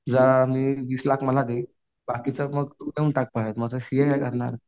वीस लाख मला दे बाकीचं मग तू घेऊन टाक मग सीए काय करणार